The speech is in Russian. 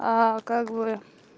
как вы